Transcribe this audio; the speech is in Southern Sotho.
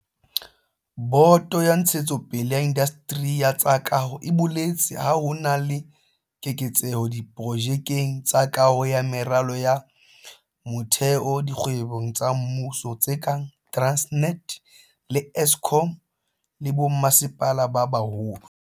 Boto ya Ntshetsopele ya Indasteri ya tsa Kaho e boletse ha ho na le keketseho diprojekeng tsa kaho ya meralo ya motheo dikgwebong tsa mmuso tse kang Transnet le Eskom, le ho bommasepala ba baholo.